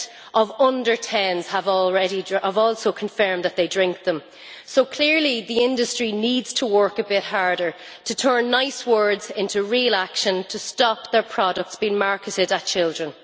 of under 10s have also confirmed that they drink them, so clearly the industry needs to work a bit harder to turn nice words into real action to stop their products being marketed at children.